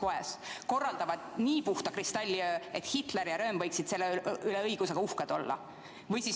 Ja ometi korraldavad nad sealsamas nii stiilipuhta kristalliöö, et Hitler ja SA pruunsärklaste staabiülem Röhm võiksid nende üle õigusega uhked olla.